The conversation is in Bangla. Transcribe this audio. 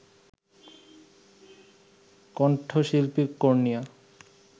কণ্ঠশিল্পী কর্ণিয়া